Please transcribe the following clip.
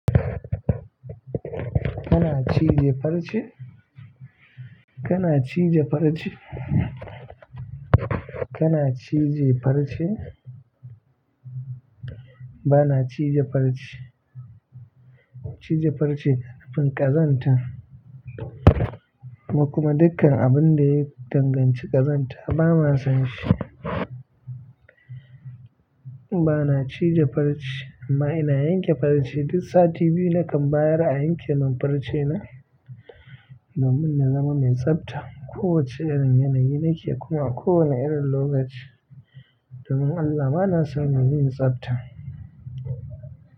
Kana ci da farce? Kana ci da farce? Kana ci da farce? Bana ci da farce. Ci da farce, abin ƙazanta kuma dukkan abin da ya danganci ƙazanta bana son shi. Bana ci da farce amma ina yanke farce duk sati biyu nakan bayar a yanke min farce na domin na zama mai tsabta. Ko wacce irin yanayi nake kuma a ko wane irin lokaci, domin Allah ma na son mu yi tsabta.